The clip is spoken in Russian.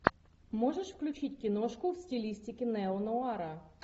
можешь включить киношку в стилистике неонуара